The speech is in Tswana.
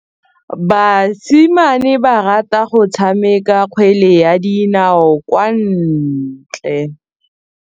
Basimane ba rata go tshameka kgwele ya dinaô kwa ntle.